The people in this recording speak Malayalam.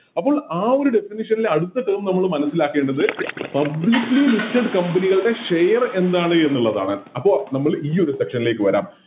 അപ്പോം ആ ഒരു Definition ല് അടുത്ത Term നമ്മള് മനസ്സിലാക്കേണ്ടത് Publicly listed company കളുടെ Share എന്താണ് എന്നുള്ളതാണ് അപ്പോം നമ്മൾ ഈയൊരു Section ലേക്ക് വരാം